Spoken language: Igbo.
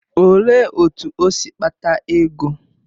Olee otú o si kpata ego?